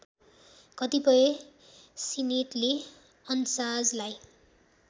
कतिपय सिनेटले अन्साजलाई